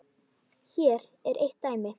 Hér er eitt dæmi.